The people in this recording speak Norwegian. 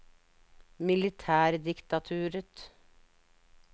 militærdiktaturet